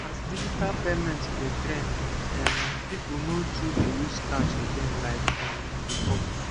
as digital payment dey trend um people no too dey use cash again like um before